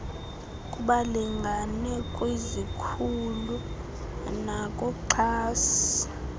kubalingane kwizikhulu nakuxhasi